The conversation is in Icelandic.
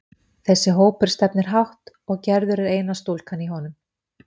Þessi hópur stefnir hátt, og Gerður er eina stúlkan í honum.